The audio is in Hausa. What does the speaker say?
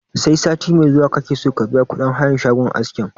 Sai sati mai zuwa kake so ka biya kuɗin hayan shagon askin?